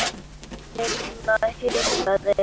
Lilla hikaði.